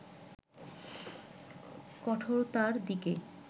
কঠোরতার দিকে